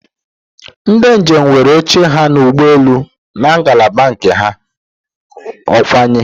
Ndi njem nwere oche ha n'ụgbọelu na ngalaba nke ha, ọkwaya?